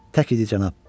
Tək idi, cənab.